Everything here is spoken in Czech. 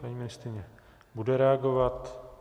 Paní ministryně bude reagovat.